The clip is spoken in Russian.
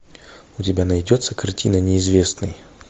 у тебя найдется картина неизвестный